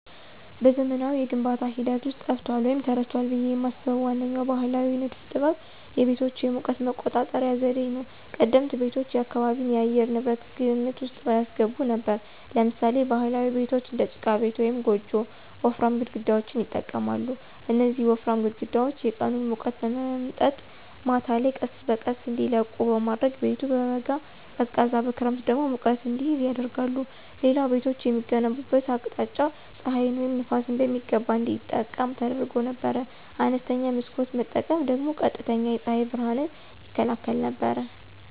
በዘመናዊው የግንባታ ሂደት ውስጥ ጠፍቷል ወይም ተረስቷል ብዬ የማስበው ዋነኛው ባሕላዊ ንድፍ ጥበብ የቤቶች የሙቀት መቆጣጠሪያ ዘዴ ነው። ቀደምት ቤቶች የአካባቢን የአየር ንብረት ግምት ውስጥ ያስገቡ ነበሩ። ለምሳሌ ባህላዊ ቤቶች (እንደ ጭቃ ቤት ወይም ጎጆ) ወፍራም ግድግዳዎችን ይጠቀማሉ። እነዚህ ወፍራም ግድግዳዎች የቀኑን ሙቀት በመምጠጥ ማታ ላይ ቀስ በቀስ እንዲለቁ በማድረግ ቤቱ በበጋ ቀዝቃዛ በክረምት ደግሞ ሙቀት እንዲይዝ ያደርጋሉ። ሌላው ቤቶች የሚገነቡበት አቅጣጫ ፀሐይን ወይም ነፋስን በሚገባ እንዲጠቀም ተደርጎ ነበር። አነስተኛ መስኮት መጠቀም ደግሞ ቀጥተኛ የፀሐይ ብርሃንን ይከላከል ነበር።